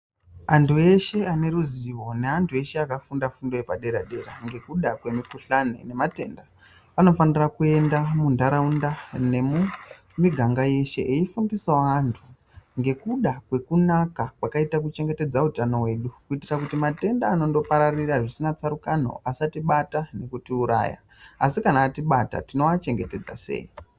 Andu eshe aneruzivo neandu akafunda fundo yepadera dera ngukuda kwemukuhlani nematenda anofanira kuenda mundaraunda nemumuganga yeshe eifundisawo andu ngekuda kwekunaka kwakaita kuchengetedza utano wedu kutira matenda anongopararira zvisina tsarukano asatibate asi kana atibata tinoachengetedza sei.